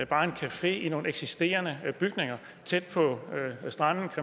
bare en café i nogle eksisterende bygninger tæt på stranden